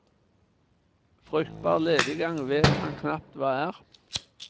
Fruktbar lediggang vet han knapt hva er.